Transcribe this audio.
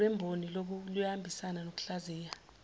lwemboni luyahambisana nokuhlaziya